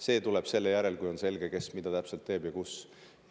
See tuleb selle järel, kui on selge, kes mida täpselt teeb ja kus.